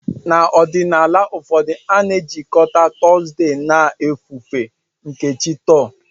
N'ọdịnala ụfọdụ, a na-ejikọta Thursday na ofufe nke chi Thor.